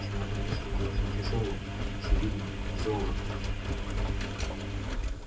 в чемодане что очень тяжёлое очевидно золото